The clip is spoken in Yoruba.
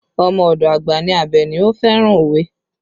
Ọmọ ọdọ àgbà ní Abeni, ó fẹ́ràn òwe